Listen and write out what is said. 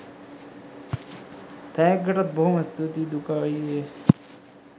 තෑග්ගටත් බොහොම ස්තූතියි දුකා අයියේ